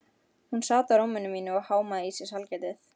Hún sat á rúminu mínu og hámaði í sig sælgætið.